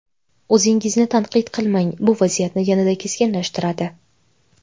O‘zingizni tanqid qilmang, bu vaziyatni yanada keskinlashtiradi.